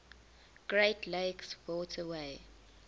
great lakes waterway